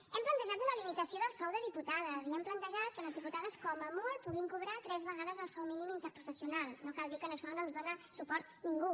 hem plantejat una limitació del sou de diputades i hem plantejat que les diputades com a molt puguin cobrar tres vegades el sou mínim interprofessional no cal dir que en això no ens dona suport ningú